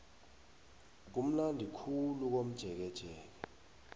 kumnandi khulu komjekejeke